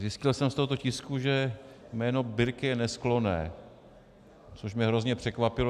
Zjistil jsem z tohoto tisku, že jméno Birke je nesklonné, což mě hrozně překvapilo.